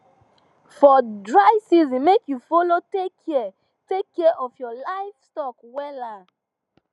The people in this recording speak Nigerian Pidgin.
for dry season make u follow take kia take kia of livestock wella